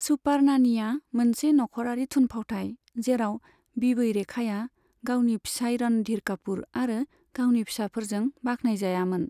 Super नानीआ मोनसे नखरारि थुनफावथाइ, जेराव बिबै रेखाया गावनि फिसाइ रणधीर कापूर आरो गावनि फिसाफोरजों बाख्नायजायामोन।